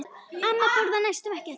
Amma borðaði næstum ekkert.